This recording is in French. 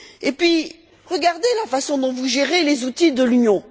Puis, regardez la façon dont vous gérez les outils de l'Union.